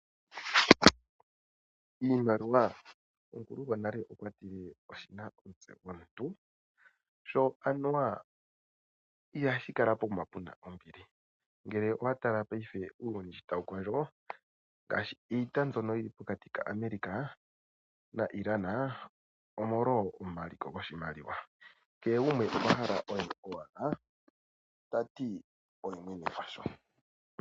Iimaliwa, omukulu gwonale okwa tile oshina omutse gomuntu. Sho anuwa ihashi kala pokuma puna ombili ngele owatala paife uuyuni sho tawu kondjo, ngaashi iita mbyono yili pokati ka America na Iran, omolwo omaliko goshimaliwa kehe gumwe okwahala oye owala tati oye mwene gwasho.